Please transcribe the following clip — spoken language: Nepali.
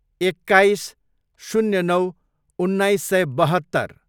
एक्काइस, शून्य नौ, उन्नाइस सय बहत्तर